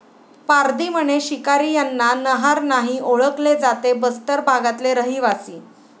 पारधी म्हणे शिकारी यांना नहार नाही ओळखले जाते बस्तर भागातले रहिवासी